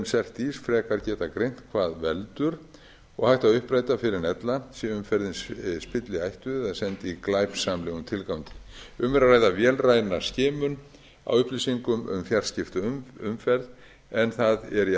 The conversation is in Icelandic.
um cert ís frekar geta greint hvað veldur og hægt að uppræta fyrr en ella sé umferðin spilliættuð eða send í glæpsamlegum tilgangi um er að ræða vélræna skimun á upplýsingum um fjarskipti um umferð en það er